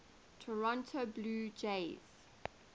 toronto blue jays